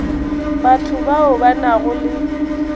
batho bao ba nago le